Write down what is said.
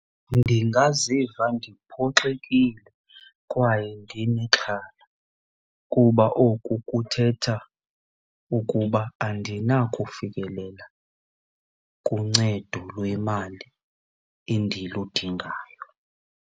Ndingaziva ndiphoxekile kwaye ndinexhala kuba oku kuthetha ukuba andinakufikelela kuncedo lwemali endiludingayo.